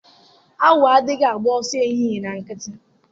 Awọ adịghị agba ọsọ ehihie na nkịtị.